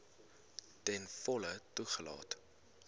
ten volle toegelaat